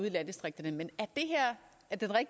i landdistrikterne med at der